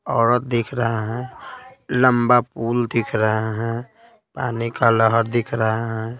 औरत दिख रहा है लंबा पूल दिख रहा है पानी का लहर दिख रहा है।